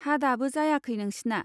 हा दाबो जायाखै नोंसिना.